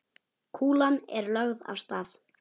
Kúlan er lögð af stað.